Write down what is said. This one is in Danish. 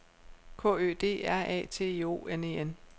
K Ø D R A T I O N E N